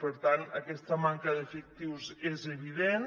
per tant aquesta manca d’efectius és evident